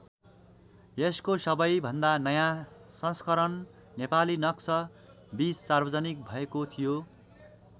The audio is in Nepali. यसको सबैभन्दा नयाँ संस्करण नेपालीनक्स २० सार्वजनिक भएको थियो।